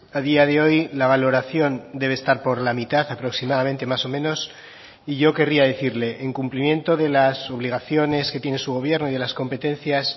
a día de hoy la valoración debe estar por la mitad aproximadamente más o menos y yo querría decirle en cumplimiento de las obligaciones que tiene su gobierno y de las competencias